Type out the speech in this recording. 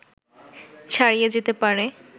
ছাড়িয়ে যেতে পারে